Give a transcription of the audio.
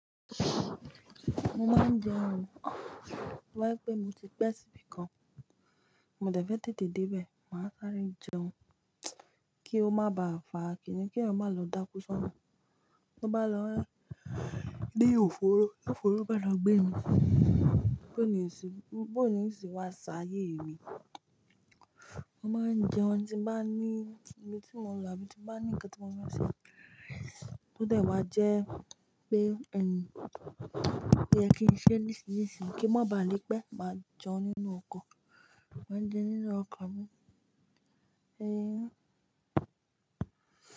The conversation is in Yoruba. Mo máa ń jẹun, to ba je pé mo ti pẹ́ síbi kan, mo dẹ̀ fẹ́ tètè dé bẹ̀, màá sáré jẹun kí ó má ba à fàa, kí ènìyàn má lò dá kú sánù. Bí ó bá lọ lé òfòró, lófòró bá lọ gbé e, bó ni ìsìn, bó ni ìsìn wá sá ayé mi. Mo máa ń jẹun tí mo bá ní tí mo ń lọ àbí tí bá ní ńǹkan tí mo fẹ́ ṣe, tó dẹ̀ wá jẹ́ pé ẹni yẹ kí n ṣe nísinsìnyí, kí n má ba à le pé, máa jẹun nínú ọkọ̀, máa ń jẹun nínú ọkọ̀ mi.